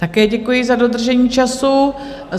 Také děkuji za dodržení času.